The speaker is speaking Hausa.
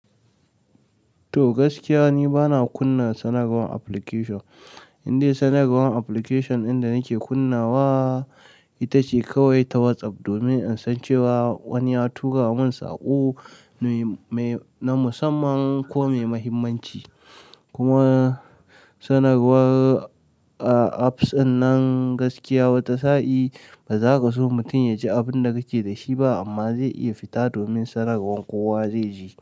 To gaskiya, ni bana kunna sanarwar application. Indai sanarwar application ɗin da nake kunnawa ita ce kawai ta WhatsApp, domin in san cewa wani ya tura mun saƙo na musamman ko mai muhimmanci. Kuma sanarwar apps ɗinnan gaskiya wata sa'i ba za ka so mutum ya ji abin da kake da shi ba, amma zai iya fita domin sanarwar kowa zai ji.